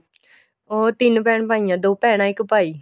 ਉਹ ਤਿੰਨ ਭੈਣ ਭਾਈ ਏ ਦੋ ਭੈਣਾ ਇੱਕ ਭਾਈ